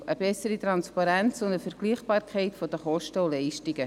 Eine bessere Transparenz und eine Vergleichbarkeit der Kosten und Leistungen.